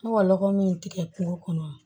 Ne ka lɔgɔ min tigɛ kungo kɔnɔ